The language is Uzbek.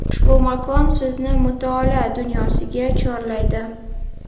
Ushbu makon sizni mutolaa dunyosiga chorlaydi”.